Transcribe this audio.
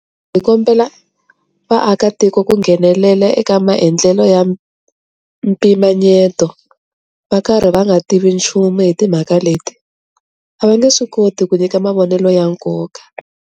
Hi kombela vaakatiko ku nghenelela eka maendlelo ya mpimanyeto va karhi va nga tivi nchumu hi timhaka leti, a va nge swi koti ku nyika mavonelo ya nkoka.